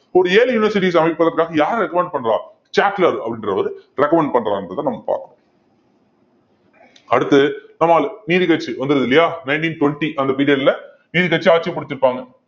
ஒரு ஏழு universities அமைப்பதற்காக யார் recommend பண்றா சாட்லர் அப்படின்றவரு recommend பண்றாருன்றதை நம்ம பாக்க~ அடுத்து நீதிக்கட்சி வந்துருது இல்லையா nineteen twenty அந்த period ல நீதி கட்சி ஆட்சியை பிடிச்சிருப்பாங்க